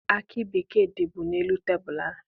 Akị bekee dịbu n'elu tebulu ahụ.